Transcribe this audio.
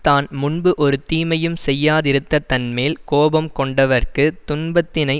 தான் முன்பு ஒரு தீமையும் செய்யாதிருக்க தன்மேல் கோபம் கொண்டவர்க்குத் துன்பத்தினை